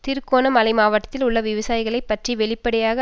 திருகோண மலை மாவட்டத்தில் உள்ள விவசாயிகளை பற்றி வெளிப்படையாக